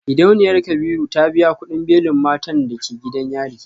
Gidauniyar kabiru ta biya kudin belin matan da ke gidan yari.